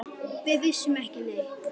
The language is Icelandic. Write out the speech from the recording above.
Við vissum ekki neitt.